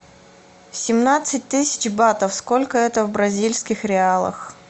семнадцать тысяч батов сколько это в бразильских реалах